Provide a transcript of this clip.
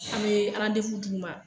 An me d'u ma